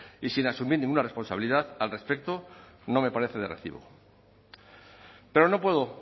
y sin asumir ninguna responsabilidad al respecto no me parece de recibo pero no puedo